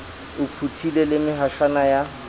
o phuthile le mehaswana ya